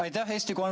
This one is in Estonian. Aitäh!